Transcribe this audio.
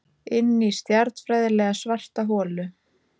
Inní stjarnfræðilega svarta holu.